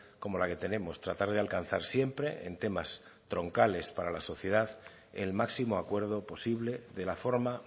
como la que tenemos tratar de alcanzar siempre en temas troncales para la sociedad el máximo acuerdo posible de la forma